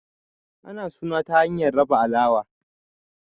ana suna ta hanyar raba alawa